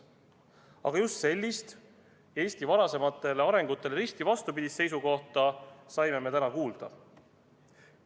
Aga just sellist, Eesti varasemale arengule risti vastupidist seisukohta saime me täna kuulda.